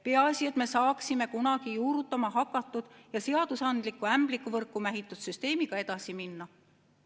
Peaasi, et me saaksime kunagi juurutama hakatud ja seadusandlikku ämblikuvõrku mähitud süsteemiga edasi minna.